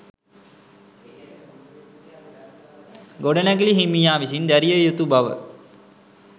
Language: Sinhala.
ගොඩනැගිලි හිමියා විසින් දැරිය යුතු බව